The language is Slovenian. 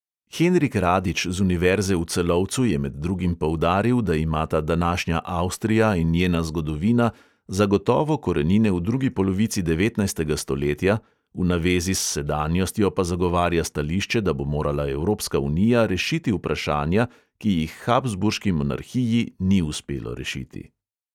Henrik radič z univerze v celovcu je med drugim poudaril, da imata današnja avstrija in njena zgodovina zagotovo korenine v drugi polovici devetnajstega stoletja, v navezi s sedanjostjo pa zagovarja stališče, da bo morala evropska unija rešiti vprašanja, ki jih habsburški monarhiji ni uspelo rešiti.